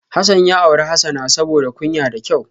Hasan ya auri Hasana saboda kunya da kyau